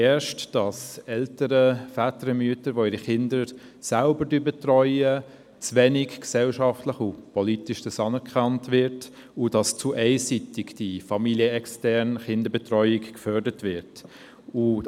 Erstens wird es gesellschaftlich und politisch zu wenig anerkannt, wenn Eltern, Väter, Mütter ihre Kinder selber betreuen, und die familienexterne Kinderbetreuung wird zu einseitig gefördert.